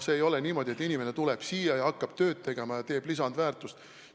Ei ole niimoodi, et inimene tuleb siia ja hakkab tööd tehes lihtsalt lisandväärtust tootma.